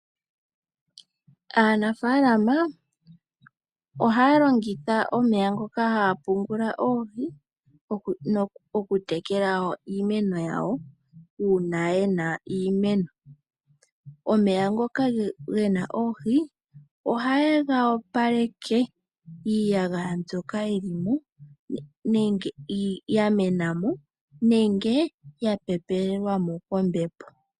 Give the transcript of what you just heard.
Aanafalama ohaalongitha omeya ngoka haapungula oohi, okutekela iimeno yawo uuna yena iimeno. Omeya ngoka gena oohi ohayega opaleke iiyagaya mbyoka yilimo, nenge yamenamo nenge yapepelelwamo kombepo.